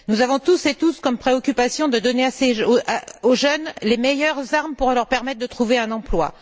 Nous avons tous et toutes comme préoccupations de donner aux jeunes les meilleures armes pour leur permettre de trouver un emploi.